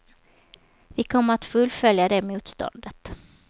Vi kommer att fullfölja det motståndet.